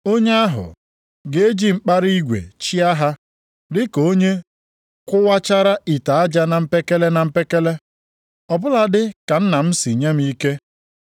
Onye ahụ, ‘ga-eji mkpara igwe chịa ha, dịka mgbe a kụwachara ite aja na mpekele na mpekele.’ + 2:27 \+xt Abụ 2:9\+xt* Ọ bụladị ka Nna m si nye m ike,